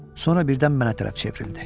Sonra birdən mənə tərəf çevrildi.